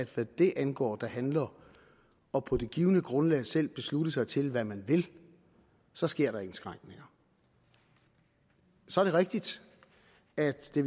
hvad det angår og på det givne grundlag selv at beslutte sig til hvad man vil så sker der indskrænkninger så er det rigtigt at det